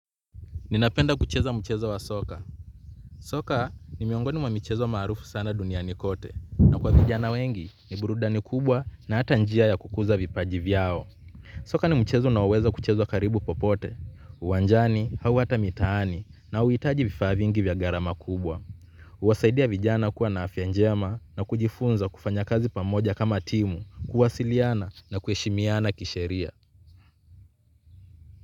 Ninapenda kucheza mchezo wa soka. Soka ni miongoni mwa mchezo maarufu sana duniani kote. Na kwa vijana wengi ni burudani kubwa na hata njia ya kukuza vipaji vyao. Soka ni mchezo unaoweza kuchezwa karibu popote. Uwanjani au hata mitaani na hauhitaji vifaa vingi vya gharama kubwa. Huwasaidia vijana kuwa na afya njema na kujifunza kufanya kazi pamoja kama timu, kuwasiliana na kuheshimiana kisheria.